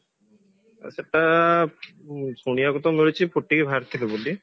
ସେଟା ଶୁଣିବାକୁ ତ ମିଳୁଛି ଫୁଟି ବାହାରିଥିଲେ ବୋଲି